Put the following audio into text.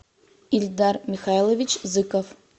ильдар михайлович зыков